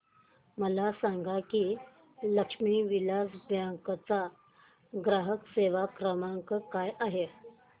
मला सांगा की लक्ष्मी विलास बँक चा ग्राहक सेवा क्रमांक काय आहे